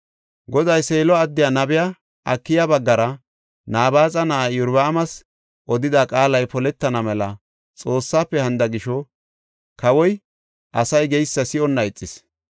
Goday Seelo addiya nabiya Akiya baggara Nabaaxa na7aa Iyorbaamas odida qaalay poletana mela Xoossafe hanida gisho kawoy asay geysa si7onna ixis.